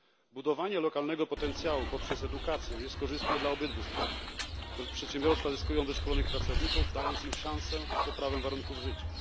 Budowanie lokalnego potencjału poprzez edukację jest korzystne dla obydwu stron przedsiębiorstwa zyskują wyszkolonych pracowników, dając im szansę na poprawę warunków życia.